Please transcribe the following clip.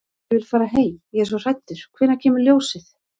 Ég vil fara heim. ég er svo hræddur. hvenær kemur ljósið?